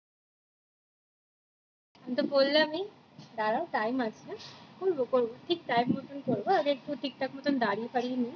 আমি তো বললামই দাঁড়াও time আছে এখন বলতে পারবো না ঠিক time মতো করবো দাড়ি ফাড়ি নেই